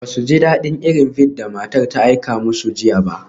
Ba su ji daɗin irin bead da matar ta aika musu jiya ba.